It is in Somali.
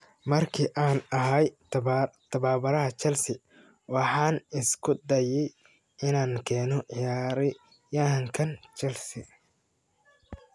"Markii aan ahaa tababaraha Chelsea, waxaan isku dayay inaan keeno ciyaaryahankan Chelsea."